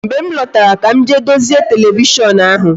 Mgbe m lọtara ka m jee dozie televishon ahụ